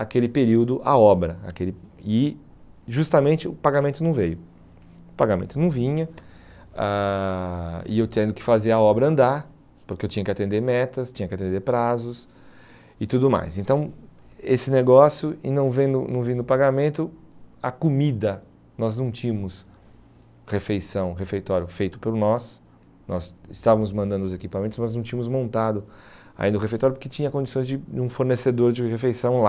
aquele período a obra aquele e justamente o pagamento não veio o pagamento não vinha ãh e eu tendo que fazer a obra andar porque eu tinha que atender metas tinha que atender prazos e tudo mais então esse negócio e não vendo não vindo pagamento a comida nós não tínhamos refeição, refeitório feito por nós nós estávamos mandando os equipamentos mas não tínhamos montado ainda o refeitório porque tinha condições de de um fornecedor de refeição lá